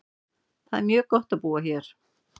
Það er mjög gott á búa hér.